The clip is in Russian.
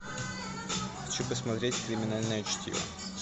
хочу посмотреть криминальное чтиво